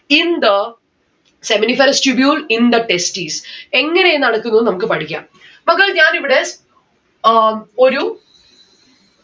in the seminiferous tubule in the testis എങ്ങനെയാ നടക്കുന്നത് നമ്മുക്ക് പഠിക്കാം. മക്കളെ ഞാൻ ഇവിടെ ഏർ ഒരു